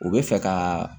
U bɛ fɛ ka